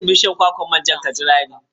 Zauna kusa da bishiyar kwakwar manja ka jira ni.